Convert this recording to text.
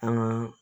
An ka